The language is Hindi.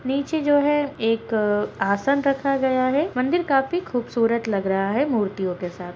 नीचे जो है एक आसन रखा गया है मंदिर काफी खूबसूरत लग रहा है मूर्तियों के साथ।